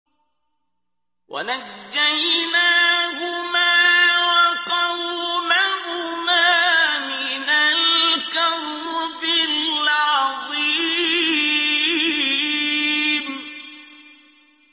وَنَجَّيْنَاهُمَا وَقَوْمَهُمَا مِنَ الْكَرْبِ الْعَظِيمِ